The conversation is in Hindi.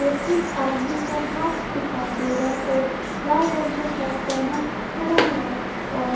और एक आदमी का हाथ दिखाई दे रहा है और लाल रंग का सर्ट पहना खड़ा है और--